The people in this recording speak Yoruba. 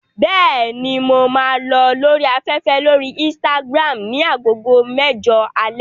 Bẹ́ẹ̀ni, mo máa lọ lórí afẹ́fẹ́ lórí Instagram ní agogo mẹ́jọ alẹ́.